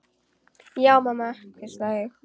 Já mamma, hvísla ég.